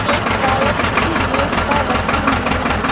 Cake शायद किसी मेज पर रखी हुई है।